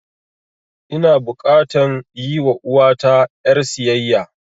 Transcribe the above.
Ina bukatan yi wa uwata ƴar siyayya